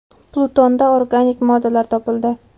Plutonda organik moddalar topildi.